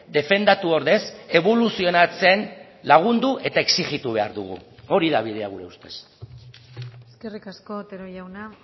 defendatu ordez eboluzionatzen lagundu eta exijitu behar dugu hori da bidea gure ustez eskerrik asko otero jauna